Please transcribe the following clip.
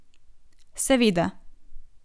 Seveda.